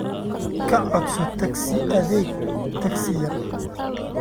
ka codso taksi adeeg taksi yar